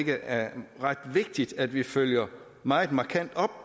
er ret vigtigt at vi følger meget markant op